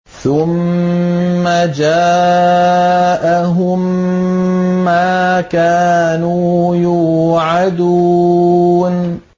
ثُمَّ جَاءَهُم مَّا كَانُوا يُوعَدُونَ